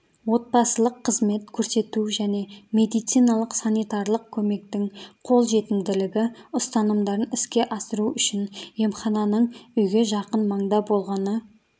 отбасылық қызмет көрсету және медициналық-санитарлық көмектің қолжетімділігі ұстанымдарын іске асыру үшін емхананың үйге жақын маңда болғаны